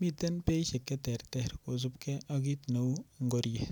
miten beishek cheterter kosupkei ak kiit neu ngoriet